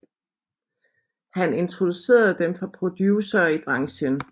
Han introducerede dem for producere i branchen